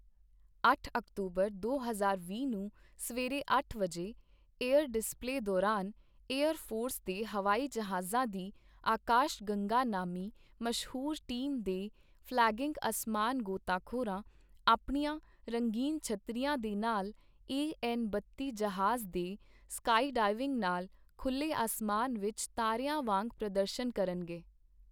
ਅੱਠ ਅਕਤੂਬਰ, ਦੋ ਹਜ਼ਾਰ ਵੀਹ ਨੂੰ ਸਵੇਰੇ ਅੱਠ ਵਜੇ, ਏਅਰ ਡਿਸਪਲੇ ਦੌਰਾਨ ਏਅਰ ਫੋਰਸ ਦੇ ਹਵਾਈ ਜਹਾਜ਼ਾਂ ਦੀ ਆਕਾਸ਼ ਗੰਗਾ ਨਾਮੀ ਮਸ਼ਹੂਰ ਟੀਮ ਦੇ ਫ਼ਲੈਗਿੰਗ ਅਸਮਾਨ ਗੋਤਾਖੋਰਾਂ, ਆਪਣੀਆਂ ਰੰਗੀਨ ਛੱਤਰੀਆਂ ਦੇ ਨਾਲ ਏ ਐੱਨ ਬੱਤੀ ਜਹਾਜ਼ ਦੇ ਸਕਾਈ ਡਾਇਵਿੰਗ ਨਾਲ ਖੁੱਲੇ ਅਸਮਾਨ ਵਿੱਚ ਤਾਰਿਆਂ ਵਾਂਗ ਪ੍ਰਦਰਸ਼ਣ ਕਰਨਗੇ।